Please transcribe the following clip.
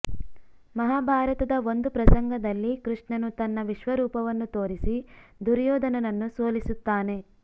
ಮಹಾಭಾರತದ ಒಂದು ಪ್ರಸಂಗದಲ್ಲಿ ಕೃಷ್ಣನು ತನ್ನ ವಿಶ್ವರೂಪವನ್ನು ತೋರಿಸಿ ದುರ್ಯೊಧನನನ್ನು ಸೋಲಿಸುತ್ತಾನೆ